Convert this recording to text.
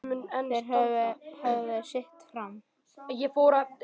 Þeir höfðu sitt fram.